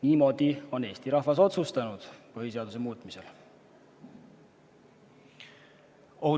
Niimoodi on Eesti rahvas põhiseaduse muutmisel otsustanud.